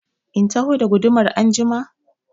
In taho da gudumar anjima?